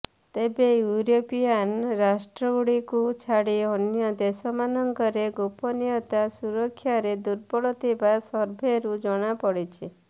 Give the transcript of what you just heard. ତେବେ ୟୁରୋପିଆନ୍ ରାଷ୍ଟ୍ରଗୁଡିକୁ ଛାଡି ଅନ୍ୟ ଦେଶମାନଙ୍କରେ ଗୋପନୀୟତା ସୁରକ୍ଷାରେ ଦୁର୍ବଳ ଥିବା ସର୍ଭେରୁ ଜଣାପଡିଛି